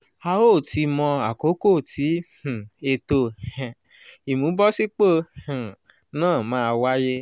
a ó tíì mọ àkókò tí um ètò um ìmúbọ̀sípò um náà máa wáyé.